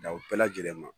Daw bɛɛ lajɛlen ma